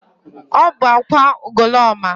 Ọ bụ akwa Ugoloọma?